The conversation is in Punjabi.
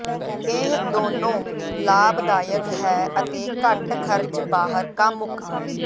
ਇਹ ਦੋਨੋ ਲਾਭਦਾਇਕ ਹੈ ਅਤੇ ਘੱਟ ਖਰਚ ਬਾਹਰ ਕਾਮੁਕ